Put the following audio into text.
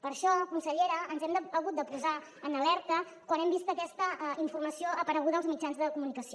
per això consellera ens hem hagut de posar en alerta quan hem vist aquesta informació apareguda als mitjans de comunicació